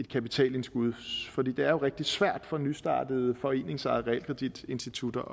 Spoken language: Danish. kapitalsindskud for det det er jo rigtig svært for nystartede foreningsejede realkreditinstitutter